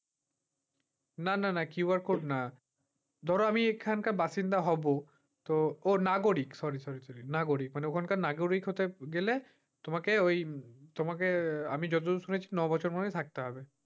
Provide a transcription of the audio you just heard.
না না না QR code না। ধরো আমি এখানকার বাসিন্দা হব তো ও নাগরিক sorry sorry sorry নাগরিক মানে ওখানকার নাগরিক হতে গেলে তোমাকে ওই তোমাকে আমি যতদূর শুনেছি নয় বছর মত থাকতে হবে।